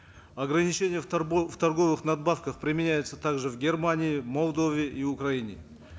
ограничения в в торговых надбавках применяются также в германии молдове и украине